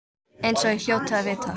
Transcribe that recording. Eins og ég hljóti að vita.